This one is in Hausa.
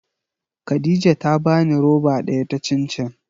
Khadija ta bani roba daya ta cin cin.